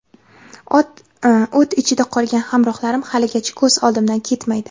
O‘t ichida qolgan hamrohlarim haligacha ko‘z oldimdan ketmaydi.